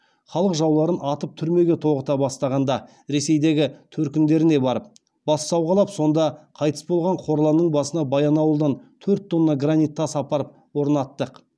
халық жауларын атып түрмеге тоғыта бастағанда ресейдегі төркіндеріне барып бас сауғалап сонда қайтыс болған қорланның басына баянауылдан төрт тонна гранит тас апарып орнаттық